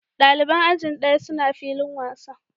Dalibai ajin ɗaya suna filin wasa.